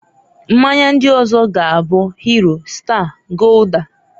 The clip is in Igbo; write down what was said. Mmanya ndiọzoga buː Hero, Star, Gulder.